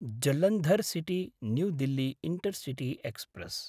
Jalandhar City new Delhi intercity express